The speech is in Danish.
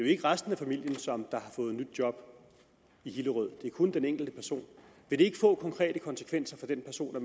ikke resten af familien som har fået nyt job i hillerød det er kun den enkelte person vil det ikke få konkrete konsekvenser for den person at